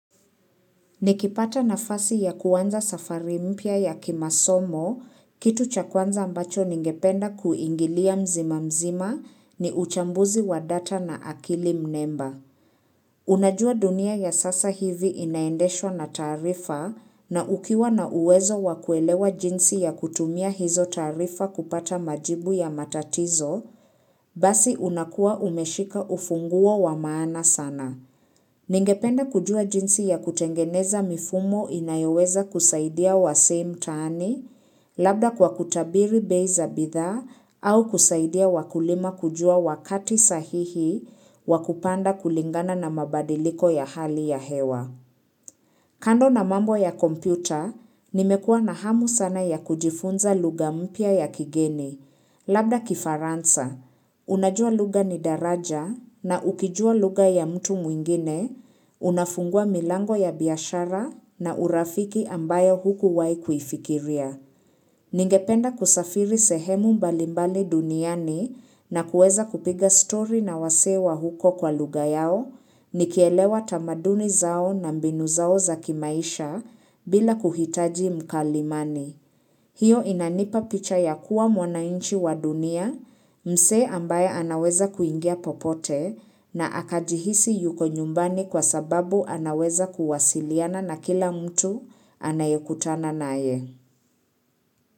Nikipata nafasi ya kuanza safari mpya ya kimasomo, kitu cha kwanza ambacho ningependa kuingilia mzima mzima ni uchambuzi wa data na akili mnemba. Unajua dunia ya sasa hivi inaendeshwa na taarifa na ukiwa na uwezo wa kuelewa jinsi ya kutumia hizo taarifa kupata majibu ya matatizo, basi unakuwa umeshika ufunguo wa maana sana. Ningependa kujua jinsi ya kutengeneza mifumo inayoweza kusaidia wasee mtaani labda kwa kutabiri bei za bidhaa au kusaidia wakulima kujua wakati sahihi wa kupanda kulingana na mabadiliko ya hali ya hewa. Kando na mambo ya kompyuta, nimekuwa na hamu sana ya kujifunza lugha mpya ya kigeni. Labda kifaransa, unajua lugha ni daraja na ukijua lugha ya mtu mwingine, unafungua milango ya biashara na urafiki ambayo hukuwahi kuifikiria. Ningependa kusafiri sehemu mbalimbali duniani na kueza kupiga stori na wasee wa huko kwa lugha yao, nikielewa tamaduni zao na mbinu zao za kimaisha bila kuhitaji mkalimani. Hiyo inanipa picha ya kuwa mwananchi wa dunia, msee ambaye anaweza kuingia popote na akajihisi yuko nyumbani kwa sababu anaweza kuwasiliana na kila mtu anayekutana naye.